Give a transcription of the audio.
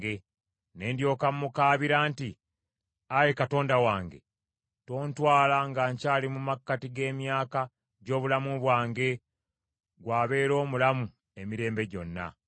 Ne ndyoka mmukaabira nti, “Ayi Katonda wange, tontwala nga nkyali mu makkati g’emyaka gy’obulamu bwange, ggw’abeera omulamu emirembe gyonna.